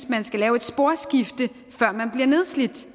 man skal have et sporskifte før man bliver nedslidt